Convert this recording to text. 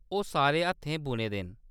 ओह्‌‌ सारे हत्थें बुने दे न।